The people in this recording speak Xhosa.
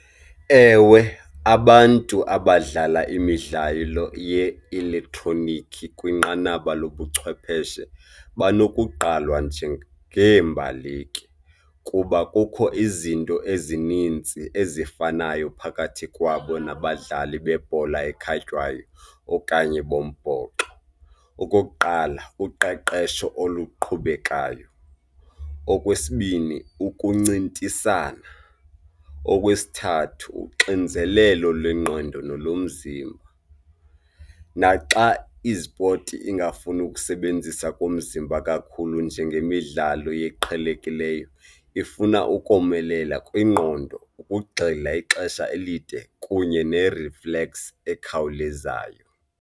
Ewe, abantu abadlala imidlalo ye-elektroniki kwinqanaba lobuchwepheshe banokugqalwa njengeembaleki kuba kukho izinto ezininzi ezifanayo phakathi kwabo nabadlali bebhola ekhatywayo okanye bombhoxo. Okokuqala, uqeqesho oluqhubekayo. Okwesibini, ukuncintisana. Okwesithathu, uxinzelelo lwengqondo nolomzimba naxa izipoti ingafuni ukusebenzisa komzimba kakhulu njengemidlalo eqhelekileyo, ifuna ukomelela kwingqondo ukugxila ixesha elide kunye ne-reflex ekhawulezayo.